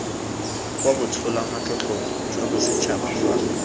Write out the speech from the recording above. kwa botsholamatlotlong jwa bosetšhaba fa